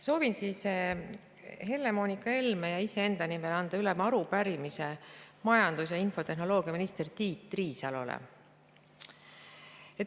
Soovin Helle-Moonika Helme ja iseenda nimel anda üle arupärimise majandus‑ ja infotehnoloogiaminister Tiit Riisalole.